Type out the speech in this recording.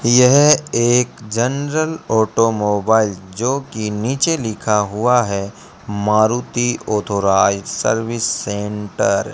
यह एक general automobile जोकि नीचे लिखा हुआ है मारुति ओथोराइज सर्विस सेंटर ।